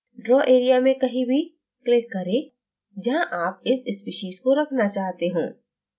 draw area में कहीं भी click करें जहां आप इस species को रखना चाहते हों